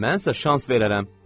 Mən isə şans verərəm.